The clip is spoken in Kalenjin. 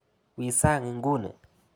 Wi sang' inguni !